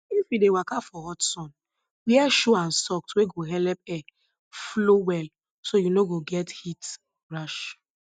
if you dey waka for hot sun wear shoe and socks wey go helep air flow well so you no go get heat rash